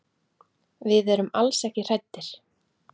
Við erum alls ekki hræddir.